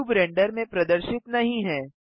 cube render में प्रदर्शित नहीं है